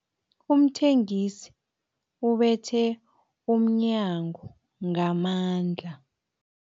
Umthengisi ubethe umnyango ngamandla.